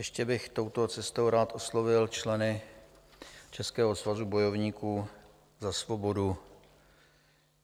Ještě bych touto cestou rád oslovil členy Českého svazu bojovníků za svobodu.